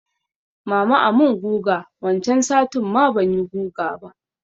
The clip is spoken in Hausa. Mama a mun guga wancan satin ma banyi guga ba